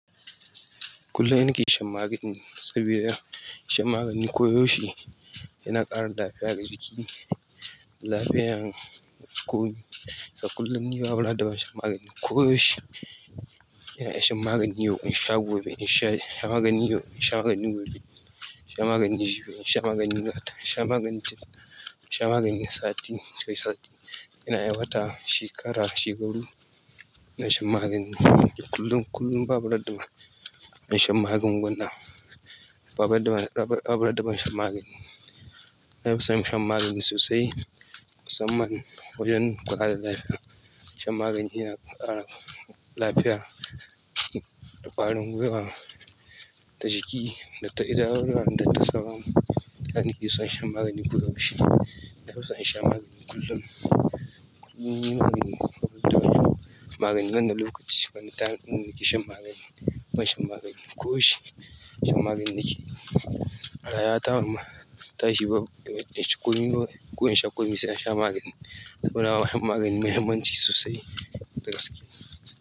Kullum ina nake shan magani saboda shan magani koyaushe yana ƙara lafiyar jiki, lafiyar komi. A kullum ni babu ranar da ban shan magani ko yaushe. Ina shan magani yau in sha gobe, in shan magani yau sha magani gobe, ina shan magani jibi, ina shan magani nata, ina shan magani taf, ina shan magani sati, sai sati. Ina aiwata shekara, shekaru ina shan magani kullum, kullum ba bu ran da ban shan magunguna. Babu randa, babu randa, ban shan magani. Ina so shan magani sosai musamman wajen ƙara lafiya. Shan magani yana ƙara lafiya da ƙwarin guiwa da jiki da ta idanuwa da ta sauran dan ni ke so shan magani koda yaushe. Ba bu rar da ban, ba bu rar daban shan magani. Ni magani ban da lokaci ban da time ɗin da nake shan magani. Shan magani nake yi. A rayuwata tashi ba banci komi ko insha komi sai nasha magani. Saboda magani muhimmanci sosai da gaske.